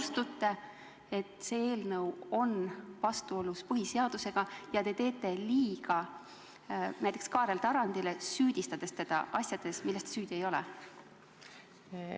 Kas te nõustute, et see eelnõu on vastuolus põhiseadusega ja te teete liiga näiteks Kaarel Tarandile, süüdistades teda asjades, milles ta süüdi ei ole?